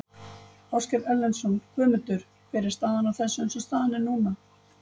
Ásgeir Erlendsson: Guðmundur hver er staðan á þessu eins og staðan er núna?